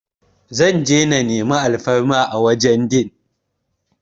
Zan je na meni alfarma a wurin din